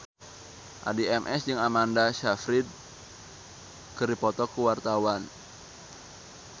Addie MS jeung Amanda Sayfried keur dipoto ku wartawan